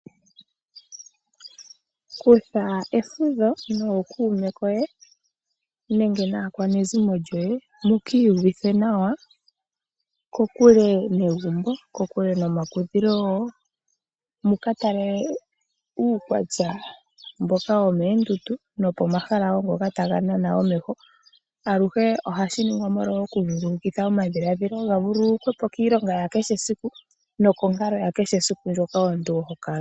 Kutha efudho nookuume koye nenge naakwanezimo lyoye mu kiiyu vithe nawa kokule negumbo, ko kule nomakudhilo, muka tale uukwatya mboka womeendundu nokomahala ngoka taga nana omeho. Aluhe ohashi ningwa oku vululukitha omadhiladhilo ga vululukwe po kiilonga ya kehe siku nokonkalo ya kehe siku moka omuntu ho kala.